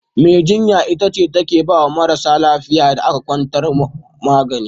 Mai jinya ita ce take baya marasa lafiyar da aka kwantar magani.